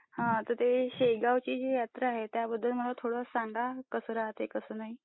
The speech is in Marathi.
हा ते शेगाव ची यात्रा आहे त्याबद्दल मला थोडं सांगा कसं राहते कसं नाही.